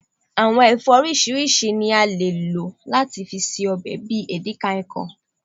awọn ẹfọ oriṣiriṣi ni à le lò lati ṣe òbe bi edikia ikong